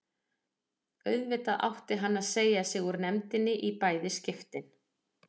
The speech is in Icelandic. Auðvitað átti hann að segja sig úr nefndinni í bæði skiptin.